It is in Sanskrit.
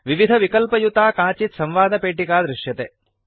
विविधविकल्पयुता काचित् संवादपेटिका दृश्यते